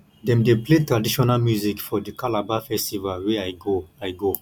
dem dey play traditional music for di calabar festival wey i go i go